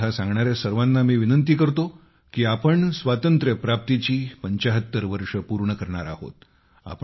कथा सांगणाऱ्या सर्वांना मी विनंती करतो की आपण स्वातंत्र्यप्राप्तीची 75 वर्षे पूर्ण करणार आहोत